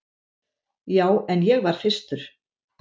Já, en ég var fyrstur.